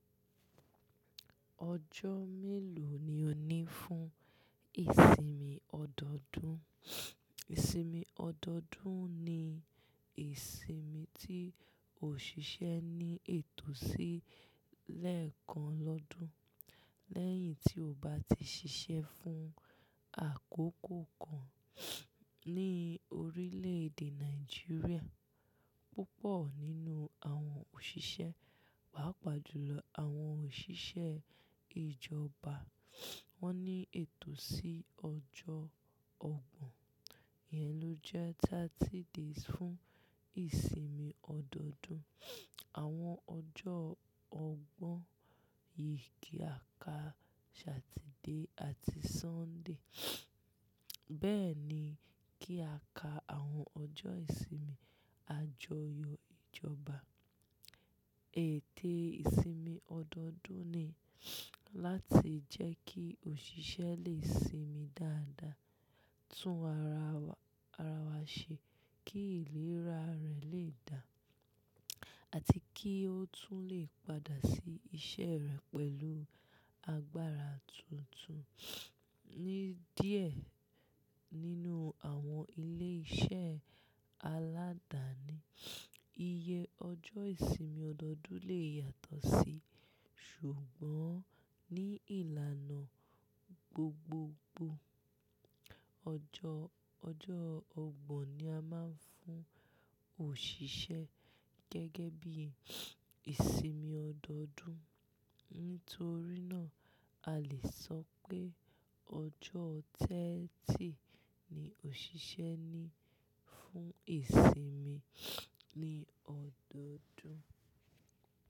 Ọjọ́ mélòó ni o ní fún ìsinmi ọdọọdún? Ìsinmi ọdọọdún ni ìsinmi tí òṣìṣẹ́ ní ètò sí lẹ́ẹ̀kan lọ́dún lẹ́yìn tí ó bá ti ṣiṣẹ́ fún àkókò kan ní orílẹ̀ èdè Nàìjíríà. Púpọ̀ nínú àwọn òṣìṣẹ́, pàápàá jùlọ àwọn òṣìṣẹ́ ìjọba, wọ́n ní ètò sí ọjọ́ ọgbọ̀n. Iyẹn ló jẹ́ 30 days fún ìsinmi ọdọọdún. Àwọn ọjọ́ ọgbọ̀n yìí kí a ka Saturday àti Sunday. Bẹ́ẹ̀ ni kí a ka àwọn ọjọ́ ìsinmi àjọyọ̀ ìjọba. Ète ìsinmi ọdọọdún ni láti jẹ́ kí òṣìṣẹ́ lè sinmi dáadáa, tún ara wa ṣe kí ìlera rẹ̀ lè dá, àti kí ó tún lè padà sí iṣẹ́ rẹ̀ pẹ̀lú agbára tuntun. Ni díẹ̀ nínú àwọn ilé-iṣẹ́ aládàáni, iye ọjọ́ ìsinmi ọdọọdún lè yàtọ̀ sí, ṣùgbọ́n ní ìlànà gbogbogbò, ọjọ́ ọgbọ̀n ni a máa ń fún òṣìṣẹ́ gẹ́gẹ́ bí ìsinmi ọdọọdún. Nítorí náà, a lè sọ pé ọjọ́ ọgbọ̀n ni òṣìṣẹ́ ní fún ìsinmi ní ọdọọdún.